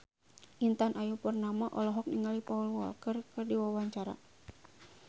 Intan Ayu Purnama olohok ningali Paul Walker keur diwawancara